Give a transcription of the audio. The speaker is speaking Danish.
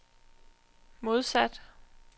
modsat